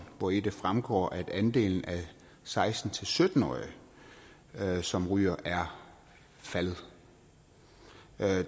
hvori det fremgår at andelen af seksten til sytten årige som ryger er faldet